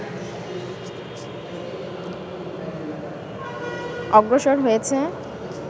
অগ্রসর হয়েছে